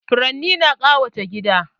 Furanni na ƙawata gida